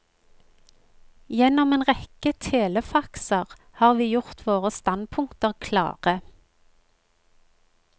Gjennom en rekke telefaxer har vi gjort våre standpunkter klare.